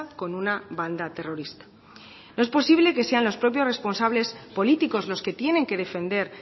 con una banda terrorista no es posible que sean los propios responsables políticos los que tienen que defender